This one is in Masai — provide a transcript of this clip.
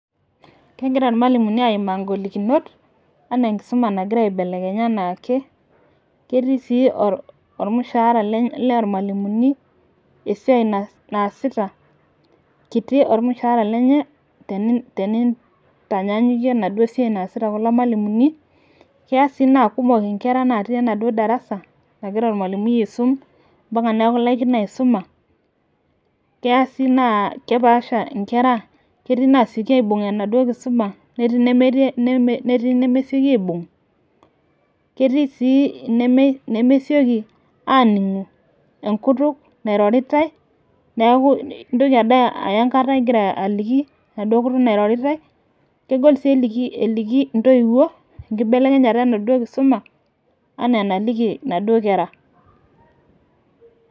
Kegira olmalimuni aimaa ng'olikunot anaa enkisuma nagira aibelekenya anaake. ketik sii olmushaara, loormalimuni esiai naasita. kiti olmushaara lenye. tenintanyaankuie enaduo skia naasita kulo malimuni. keya sii naa kumok nkera natii enaduoo darasa. nagira olmalimui aisum. mpaka neeku ilaikino aisuma. keya sii neeku kepasha nkera. ketii naasioki aibung enaduoo kisuma. netoo inemesioki aibung'.ketio sii ine meitoki aaningu enkutuk nairoritae. neeku intoki bade aya enkata igira aliki enaduoo kutuk nairoritae. kegol sii eliki ntoiwuo enkibelekenyata enaduoo kisuma. anaa enaduoo kera.